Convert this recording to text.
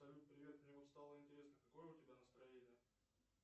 салют привет мне вот стало интересно какое у тебя настроение